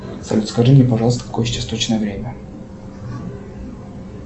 салют скажи мне пожалуйста какое сейчас точное время